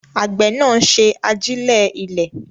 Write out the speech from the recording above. Àgbẹ̀ náà ń ṣe àjílẹ̀ ilẹ̀.